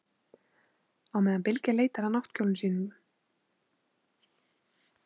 Á meðan Bylgja leitar að náttkjólnum segir hún frá áhyggjum sínum í vinnunni.